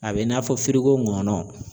A bɛ i n'a fɔ nkɔnɔ